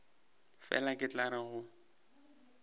fela ke tla re go